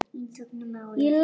Einsog um árið.